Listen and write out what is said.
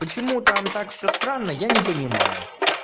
почему там так всё странно я не понимаю